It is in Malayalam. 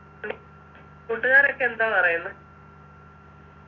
കൂട്ടുകാരൊക്കെ എന്താ പറയുന്ന്